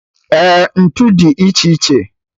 Eh, ntụ dị iche iche